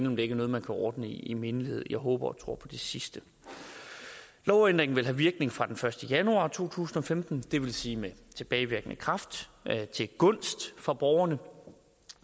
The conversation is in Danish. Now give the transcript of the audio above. om det er noget man kan ordne i mindelighed jeg håber tror på det sidste lovændringen vil have virkning fra den første januar to tusind og femten det vil sige med tilbagevirkende kraft til gunst for borgerne